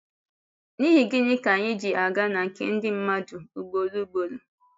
N’ihi gịnị ka anyị ji aga na nke ndị mmadụ ugboro ugboro?